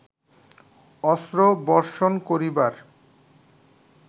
অস্ত্র বর্ষণ করিবার